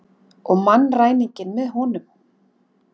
Og mannræninginn með honum.